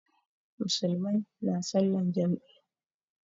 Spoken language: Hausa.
Musulmai na salan jam'i